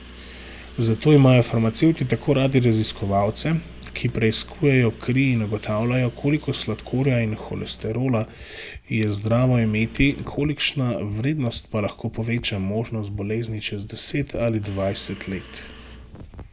Zato imajo farmacevti tako radi raziskovalce, ki preiskujejo kri in ugotavljajo, koliko sladkorja in holesterola je zdravo imeti, kolikšna vrednost pa lahko poveča možnost bolezni čez deset ali dvajset let.